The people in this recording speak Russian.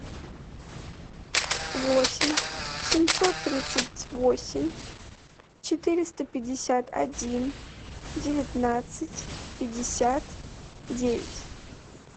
восемь семьсот тридцать восемь четыреста пятьдесят один девятнадцать пятьдесят девять